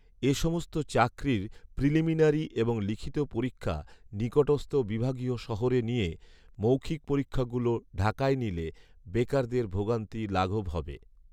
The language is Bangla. এ সমস্ত চাকরির প্রিলিমিনারি এবং লিখিত পরীক্ষা নিকটস্থ বিভাগীয় শহরে নিয়ে, মৌখিক পরীক্ষাগুলো ঢাকায় নিলে বেকারদের ভোগান্তি লাঘব হবে